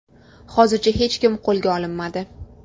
Hozircha hech kim qo‘lga olinmadi.